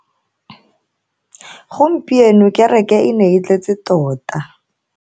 Gompieno kereke e ne e tletse tota.